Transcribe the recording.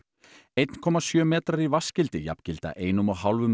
einn komma sjö metrar í jafngilda einum og hálfum